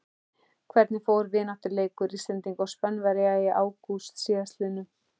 Hvernig fór vináttulandsleikur Íslendinga og Spánverja í ágúst síðastliðnum?